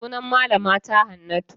Sunan malama ta Hannatu.